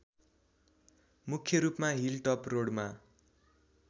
मुख्‍य रूपमा hill top रोडमा